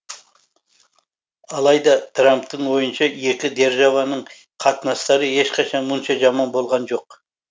алайда трамптың ойынша екі державаның қатынастары ешқашан мұнша жаман болған жоқ